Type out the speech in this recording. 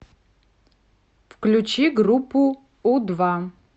включи группу у два